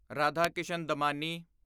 Radhakishan Damani